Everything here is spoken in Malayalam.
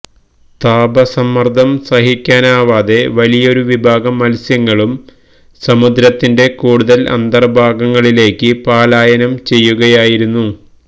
താപസമ്മര്ദ്ദം സഹിക്കാനാവാതെ വലിയൊരു വിഭാഗം മത്സ്യങ്ങളും സമുദ്രത്തിന്റെ കൂടുതല് അന്തര്ഭാഗങ്ങളിലേക്ക് പലായനം ചെയ്യുകയായിരുന്നു